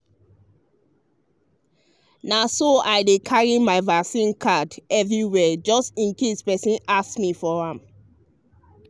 na so i dey carry my vaccine card everywhere just in case person ask me for am.